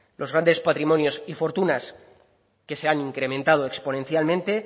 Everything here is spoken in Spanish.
los grandes patrimonios y fortunas que se han incrementado exponencialmente